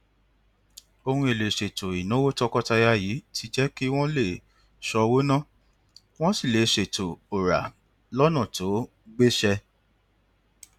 ohun èlò ìṣètò ìnáwó tọkọtaya yìí ti jẹ kí wọn lè ṣọwó ná wọn sì lè ṣètò òrà lọnà tó gbéṣẹ